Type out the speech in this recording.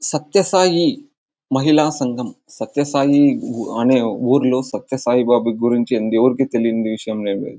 సత్య సాయి మహిళా సంగం. సత్య సాయి అనే ఊరులో సత్య సాయి బాబా గురించి ఎవరికి తెలియని విషయం లేదు.